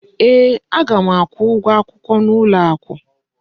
Ee, aga m akwụ ụgwọ akwụkwọ n'ụlọ akụ.